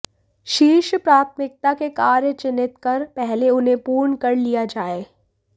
शीर्ष प्राथमिकता के कार्य चिह्नित कर पहले उन्हें पूर्ण कर लिया जाए